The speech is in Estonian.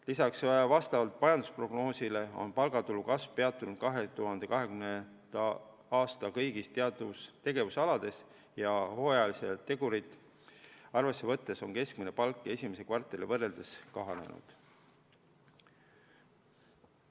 Lisaks vastavalt majandusprognoosile on palgatulu kasv peatunud 2020. aastal kõigil tegevusaladel ja hooajalisi tegureid arvesse võttes on keskmine palk esimese kvartaliga võrreldes kahanenud.